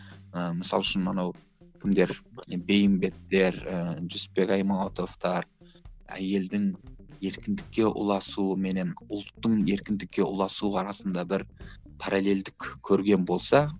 ы мысалы үшін мынау кімдер бейімбеттер ііі жүсіпбек аймауытовтар әйелдің еркіндікке ұласуы менен ұлттың еркіндікке ұласуы арасында бір паралелдік көрген болса